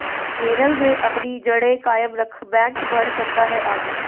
केरल में अपनी जड़ें कायम रख बैंक बढ़ सकता है आगे